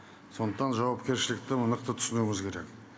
сондықтан жауапкершілікті түсінуіміз керек